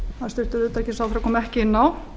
hæstvirtur utanríkisráðherra kom ekki inn á